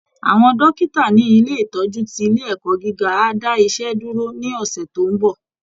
Àwọn dókítà ní ilé ìtọ́jú ti ilé ẹ̀kọ́ gíga á dá iṣẹ́ dúró ní ọ̀sẹ̀ tó ń bọ̀